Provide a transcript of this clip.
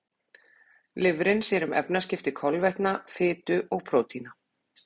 Lifrin sér um efnaskipti kolvetna, fitu og prótína.